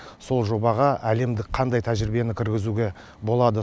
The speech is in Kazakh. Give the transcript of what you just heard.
сол жобаға әлемдік қандай тәжірибені кіргізуге болады